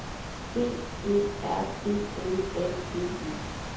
D Ø R B L A D E